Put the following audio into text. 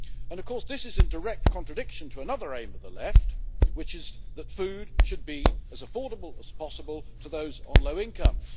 Of course, this is in direct contradiction to another aim of the left, which is that food should be as affordable as possible to those on low incomes.